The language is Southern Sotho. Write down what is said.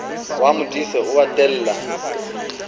wa modise o a tella